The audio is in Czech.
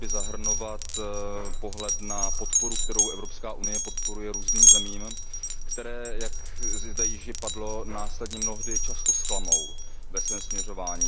Měl by zahrnovat pohled na podporu, kterou Evropské unie poskytuje různým zemím, které, jak zde již padlo, následně mnohdy často zklamou ve svém směřování.